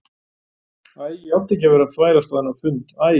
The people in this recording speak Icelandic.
Æ, ég átti ekki að vera að þvælast á þennan fund æ.